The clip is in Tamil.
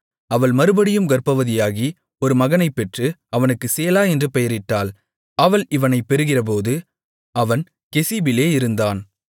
அவள் மறுபடியும் கர்ப்பவதியாகி ஒரு மகனைப் பெற்று அவனுக்கு சேலா என்று பெயரிட்டாள் அவள் இவனைப் பெறுகிறபோது அவன் கெசீபிலே இருந்தான்